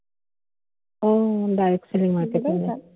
O, direct selling market